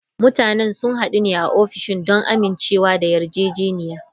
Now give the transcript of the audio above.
Mutanen sun hadu a ofishina don amincewa da yarjejeniya.